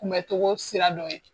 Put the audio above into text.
Kunbɛcogo sira dɔ ye